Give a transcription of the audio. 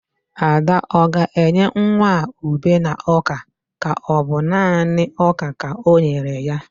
Ada o ga-enye nwa a ube na oka ka ọ bu nani ọka ka o nyere ya?